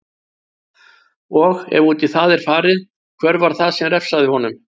Og, ef út í það er farið, hver var það sem refsaði honum?